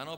Ano?